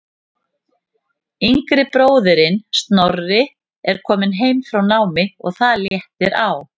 Yngri bróðirinn Snorri er kominn heim frá námi og það léttir á.